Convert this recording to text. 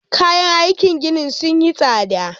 Kayan aikin gini sun yi tsada